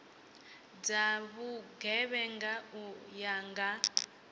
dza vhugevhenga u ya nga